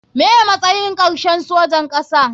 Me matsay karshe sojan kasa.